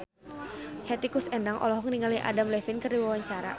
Hetty Koes Endang olohok ningali Adam Levine keur diwawancara